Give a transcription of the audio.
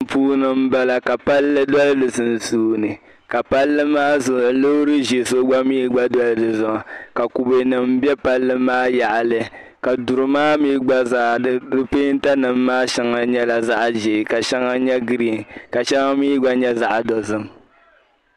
Tin'puuni m-bala ka palli dɔli di sunsuuni ka palli maa zuɣu loori ʒee so gba mi be di zuɣu ka kubenima be palli maa yaɣili ka duri maa mi gba zaa di peentanima maa shɛŋa nyɛla zaɣ'ʒee ka shɛŋa nye giriin ka shɛŋa mi gba nye zap'dozim